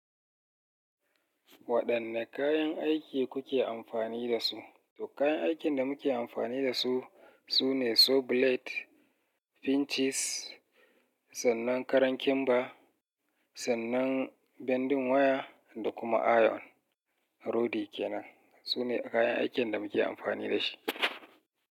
Waɗanne kayan aiki kuke amfani da su? To kayan aikin da muke amfani da su, sune saw blade, pinches, sannan karan kimba, sannan bending waya da kuma iron rodi kenan. Su ne kayan aikin da muke amfani da shi.